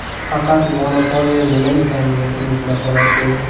Faqat monopoliya nima ekanligini unutmasalar bo‘ldi.